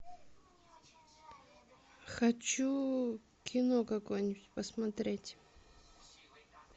хочу кино какое нибудь посмотреть